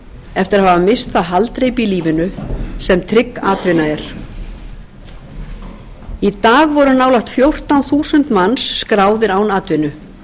eftir að hafa misst það haldreipi í lífinu sem trygg atvinna er í dag voru nálægt fjórtán þúsund manns skráðir án atvinnu